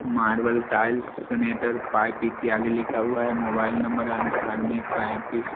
marble tiles sanitary pipe इत्यादि लिखा हुआ हैं मोबाइल नंबर अठ्ठानब्बे पैतीस--